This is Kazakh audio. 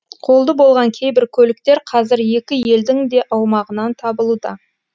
қолды болған кейбір көліктер қазір екі елдің де аумағынан табылуда